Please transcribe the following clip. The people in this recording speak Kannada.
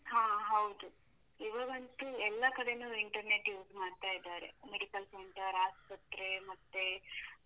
ಹಾ ಹೌದು, ಇವಾಗಂತು ಎಲ್ಲ ಕಡೆನೂ internet use ಮಾಡ್ತಾ ಇದ್ದಾರೆ, medical center, ಆಸ್ಪತ್ರೆ ಮತ್ತೆ.